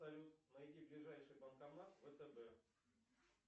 салют найди ближайший банкомат втб